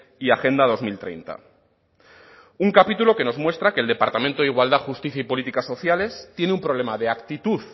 y agenda dos mil treinta un capítulo que nos muestra que el departamento de igualdad justicia y políticas sociales tiene un problema de actitud